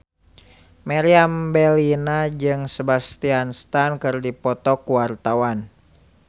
Meriam Bellina jeung Sebastian Stan keur dipoto ku wartawan